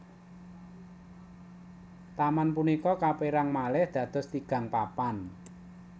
Taman punika kapérang malih dados tigang papan